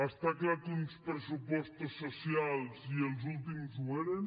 està clar que uns pressupostos socials i els últims ho eren